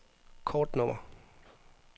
kortnummer